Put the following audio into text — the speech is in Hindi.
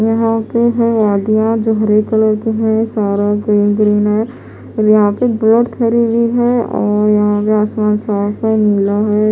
यहाँ पर है नदिया जो ब्लू कलर की है और यहाँ पर बोट खड़ी हुई है--